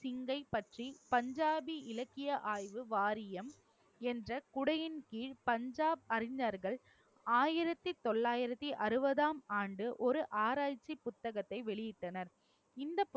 சிங்கை பற்றி, பஞ்சாபி இலக்கிய ஆய்வு வாரியம், என்ற குடையின் கீழ் பஞ்சாப் அறிஞர்கள், ஆயிரத்தி தொள்ளாயிரத்தி அறுபதாம் ஆண்டு, ஒரு ஆராய்ச்சி புத்தகத்தை வெளியிட்டனர். இந்த